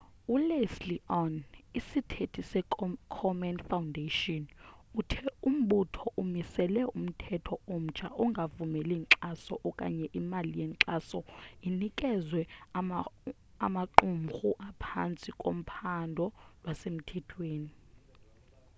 uleslie aun isithethi se komen foundation uthe umbutho umisele umthetho omtsha ongavumeli inkxaso okanye imali yenkxaso inikezwe amaqumhru aphantsi kophando lwasemthethweni